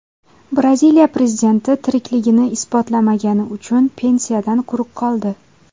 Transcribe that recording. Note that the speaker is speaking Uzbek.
Braziliya prezidenti tirikligini isbotlamagani uchun pensiyadan quruq qoldi.